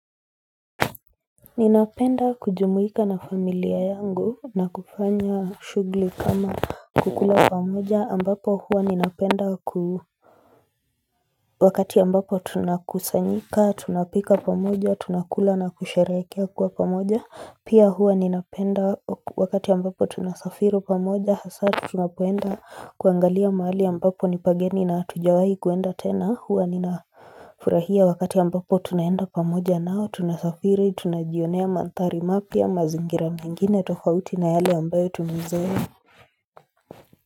Ninapenda kujumuika na familia yangu na kufanya shughuli kama kukula pamoja ambapo huwa ninapenda ku Wakati ambapo tunakusanyika, tunapika pamoja, tunakula na kusharehekea kuwa pamoja. Pia huwa ninapenda wakati ambapo tunasafiri pamoja. Hasa tunapoenda kuangalia mahali ambapo ni pageni na hatujawahi kuenda tena, huwa ninafurahia wakati ambapo tunaenda pamoja nao. Tunasafiri, tunajionea mandhari mapya, mazingira mingine, tofauti na yale ambayo tumeizoea.